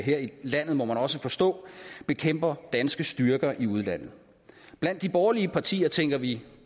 her i landet må man også forstå bekæmper danske styrker i udlandet blandt de borgerlige partier tænker vi